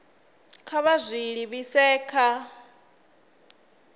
kha vha zwi livhise kha